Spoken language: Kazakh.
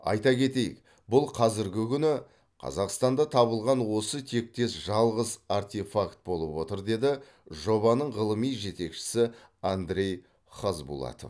айта кетейік бұл қазіргі күні қазақстанда табылған осы тектес жалғыз артефакт болып отыр дейді жобаның ғылыми жетекшісі андрей хазбулатов